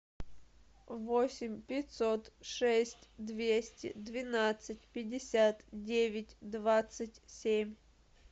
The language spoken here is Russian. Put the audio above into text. восемь пятьсот шесть двести двенадцать пятьдесят девять двадцать семь